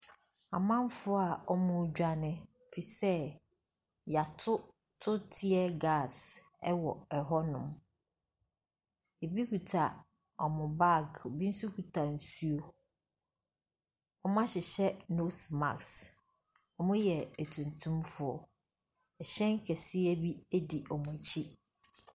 Amanfoɔ a wɔtredwane efisɛ yɛatoto tier gas wɔ hɔnom. Rebi kita wɔn bag. Ebi nso kita nsuo. Wɔahyehyɛ nose marsk. Wɔyɛ atuntumfoɔ. Ɛhyɛn kɛseɛ bi di wɔn akyi.